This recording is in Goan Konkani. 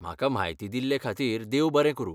म्हाका म्हायती दिल्लेखातीर देव बरें करूं.